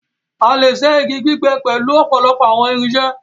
a lẹ ṣe ígi gbígbé pẹlu òpòlopò àwọn irinṣẹ́.